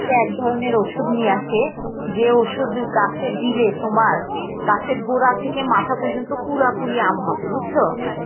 এক ধরনের ওষুধ নিয়ে আসে যে ওষুধ গাছে দিলে তোমার গাছের গোড়া থেকে মাথা পর্যন্ত পুরোপুরি আম হবে বুঝছো